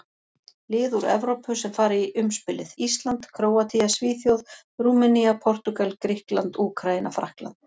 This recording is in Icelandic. Lið úr Evrópu sem fara í umspilið: Ísland, Króatía, Svíþjóð, Rúmenía, Portúgal, Grikkland, Úkraína, Frakkland.